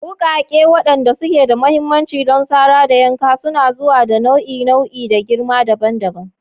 Wukake, waɗanda suke da mahimmanci don sara da yanka, suna zuwa da nau'i-nau'i da girma dabam.